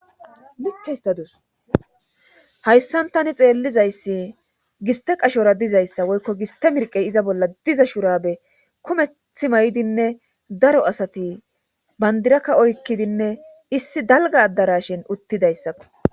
Like histadus hayssan tani xeellizayssi giste qashora dizayssa woykko giste mirqey iza bolla diza shurabe kometh may7dinne daro asati bandirakka oykkidinne issi dalga addara shin uttidayssakko.